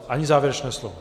Ani závěrečné slovo?